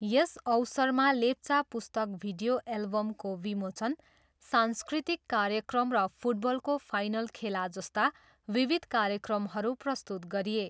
यस अवसरमा लेप्चा पुस्तक भिडियो एल्बमको विमोचन, सांस्कृतिक कार्यक्रम र फुटबलको फाइनल खेला जस्ता विविध कार्यक्रमहरू प्रस्तुत गरिए।